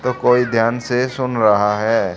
तो कोई ध्यान से सुन रहा है।